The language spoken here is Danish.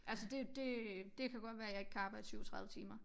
Altså det det det kan godt være jeg ikke kan arbejde 37 timer